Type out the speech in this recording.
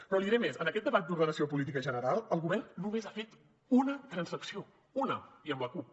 però li diré més en aquest debat d’ordenació política general el govern només ha fet una transacció una i amb la cup